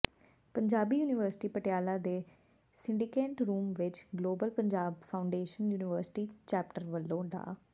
Punjabi university Patiala ਦੇ syndicate room ਵਿੱਚ global Punjab foundation university chapter ਵੱਲੋਂ ਡਾ